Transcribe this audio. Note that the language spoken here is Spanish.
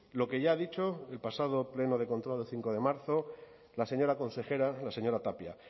lo que ya ha dicho el pasado pleno de control el cinco de marzo la señora consejera la señora tapia